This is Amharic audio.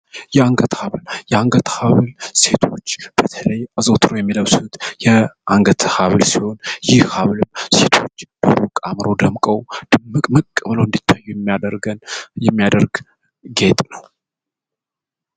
የአንገት ሀብል የአንገት ሀብል በተለይ ሴቶች አዘውትረው የሚለብሱት የአንገት ሀብል ሲሆን ይህ ሀብል ሴቶች በሩቅ አምረው ደምቀው ድምቅምቅ ብለው እንዲታዩ የሚያደርጋቸው ጌጥ ነው።